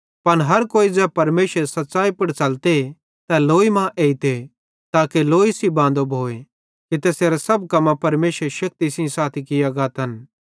पन हर कोई ज़ै परमेशरेरी सच़्च़ाई पुड़ च़लते तै लोई कां एइते ताके लोई सेइं बांदो भोए कि तैसेरे सब कम्मां परमेशरेरी शक्ति सेइं साथी किये गातन